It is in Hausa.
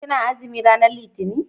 ki na azumi ranar litani?